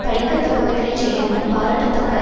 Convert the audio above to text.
பழிக்கத் தக்கவைகளைச் செய்யாமல் பாராட்டத்தக்க